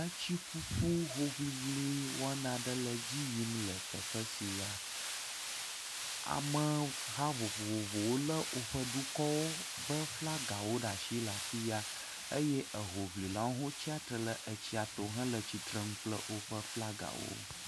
Etsiƒuƒu hoŋiŋli wɔna aɖe le edzi yim le teƒ sia. Ameha vovovowo lé woƒe dukɔwo be flagawo ɖe afi ya eye ehoŋlilawo hã wotsatsitre etsia to hele tsitrenu kple woƒe flagawo.